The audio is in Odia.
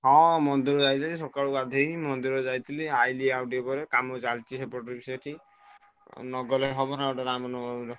ହଁ ମନ୍ଦିର ଯାଇଥିଲି ସକାଳୁ ଗାଧେଇ ମନ୍ଦିର ଯାଇଥିଲି ଆଇଲି ଆଉ ଟିକେ ପରେ କାମ ଚାଲିଛି ସେପଟରେ ବି ସେଠି। ମୁଁ ନଗଲେ ହବ ନା ଗୋଟେ ରାମନବମୀରେ।